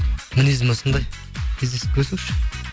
мінезім осындай кездесіп көрсінші